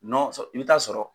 i bɛ t'a sɔrɔ